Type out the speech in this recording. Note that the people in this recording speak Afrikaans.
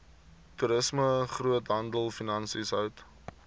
toerisme groothandelfinansies hout